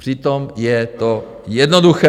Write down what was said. Přitom je to jednoduché.